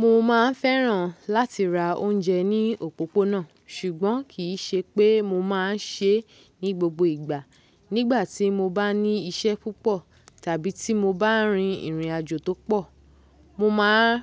Mo ma n fẹ́ràn láti ra oúnjẹ ní òpópónà, ṣùgbọ́n kì í ṣe pé mo má a n ṣe é ní gbogbo ìgbà. Nígbà tí mo bá ní iṣẹ́ púpọ̀ tàbí tí mo bá rin ìrìnàjò tó pọ̀, mo ma n